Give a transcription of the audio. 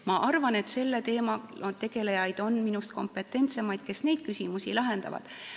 Ma arvan, et on minust kompetentsemaid selle teemaga tegelejaid, kes neid küsimusi lahendavad.